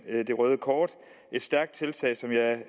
det røde kort et stærkt tiltag som jeg